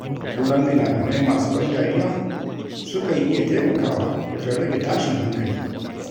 Kallon fina-finai masu ban dariya, sukan iya taimakawa wajen rage tashin hankali.